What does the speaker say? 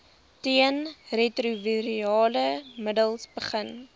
teenretrovirale middels begin